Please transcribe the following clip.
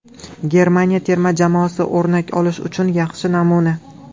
Germaniya terma jamoasi o‘rnak olish uchun yaxshi namuna.